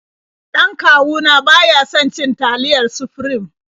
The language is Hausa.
Dan kawu na ba ya son cin taliyar Sufrim.